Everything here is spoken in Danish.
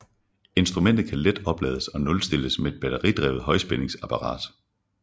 Instrumentet kan let oplades og nulstilles med et batteridrevet højspændingsapparat